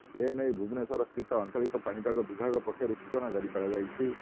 ଏନେଇ ଭୁବନେଶ୍ୱର ସ୍ଥିତ ଆଞ୍ଚଳିକ ପାଣିପାଗ ବିଭାଗ ପକ୍ଷରୁ ସୂଚନା ଜାରି କରାଯାଇଛି